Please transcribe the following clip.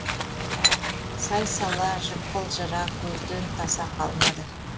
сай сала жықпыл жыра көзден таса қалмады